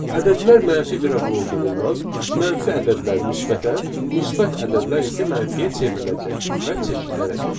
Ədədlər mənfi birə vurulduğundan mənfi ədədlər müsbətə, müsbət ədədlər isə mənfiyə çevriləcək və çeşidləncək.